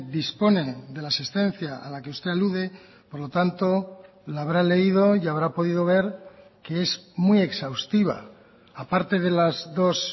dispone de la asistencia a la que usted alude por lo tanto la habrá leído y habrá podido ver que es muy exhaustiva aparte de las dos